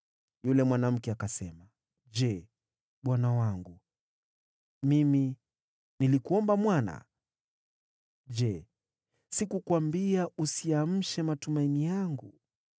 Yule mwanamke akasema, “Je, bwana wangu, mimi nilikuomba mwana? Je, sikukuambia, ‘Usiamshe matumaini yangu’?”